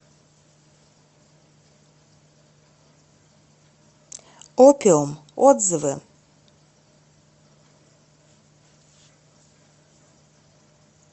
опиум отзывы